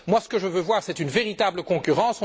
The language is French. Ce que je veux voir, c'est une véritable concurrence.